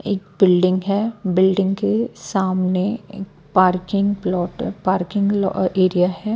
एक बिल्डिंग है बिल्डिंग के सामने parking plot parking uh area है।